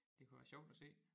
Det kunne være sjovt at se